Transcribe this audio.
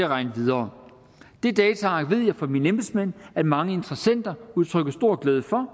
regne videre det dataark ved jeg fra mine embedsmænd mange interessenter udtrykker stor glæde for